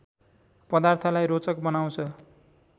पदार्थलाई रोचक बनाउँछ